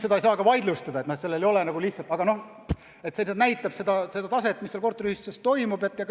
Seda ei saa ka vaidlustada, aga noh, see näitab taset, mis korteriühistutes toimub.